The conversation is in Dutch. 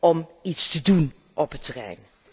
om iets te doen op dit terrein.